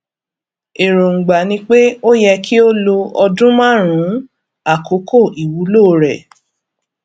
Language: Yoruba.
èròǹgbà ni pé ó yẹ kí ó lo ọdún márùnún àkókò iwulo re